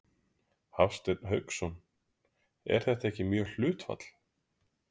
Hafsteinn Hauksson: Er það ekki mjög hátt hlutfall?